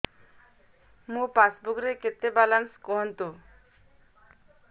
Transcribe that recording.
ମୋ ପାସବୁକ୍ ରେ କେତେ ବାଲାନ୍ସ କୁହନ୍ତୁ